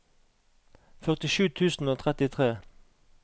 førtisju tusen og trettitre